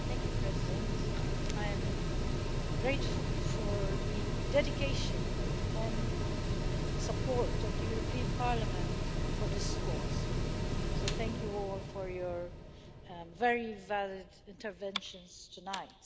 Madam President, I am grateful for the dedication and support of the European Parliament for this discourse, so thank you all for your very valid interventions tonight.